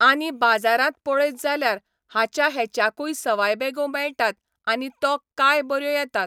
आनी बाजारांत पळयत जाल्यार, हाच्या हेच्याकून सवाय बॅगो मेळटात आनी तो काय बऱ्यो येतात.